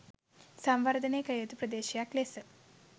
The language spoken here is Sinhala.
සංවර්ධනය කළ යුතු ප්‍රදේශයක් ලෙස